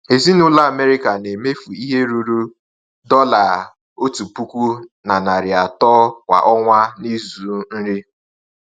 Ezinụlọ Amerịka na-emefu ihe ruru $1,300 kwa ọnwa n’ịzụ nri.